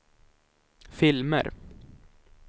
filmer